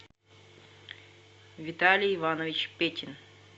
виталий иванович петин